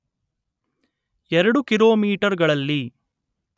ಎರಡು ಕಿಲೋಮೀಟರ್‌ಗಳಲ್ಲಿ